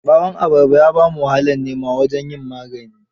Ɓawan abarba ya ba mu wahalar nema wajen yin maganin.